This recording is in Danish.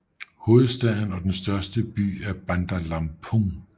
Hovedstaden og den største by er Bandar Lampung